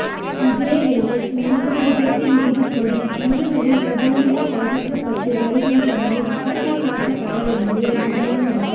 இதேவேளை உண்ணாவிரதத்தில் ஈடுப்படும் இருவரின் உடல்நிலை பாதிக்கப்பட்டு வருகின்றமையும் சுட்டிக்காட்டப்பட வேண்டிய விடயமாகும்